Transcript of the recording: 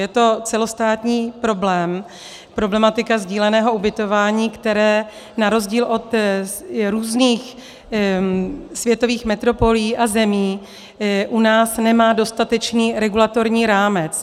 Je to celostátní problém, problematika sdíleného ubytování, které na rozdíl od různých světových metropolí a zemí u nás nemá dostatečný regulatorní rámec.